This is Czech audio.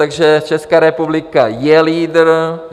Takže Česká republika je lídr.